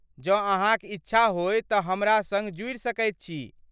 जँ, अहाँक इच्छा होय तँ हमरा संग जुड़ि सकैत छी।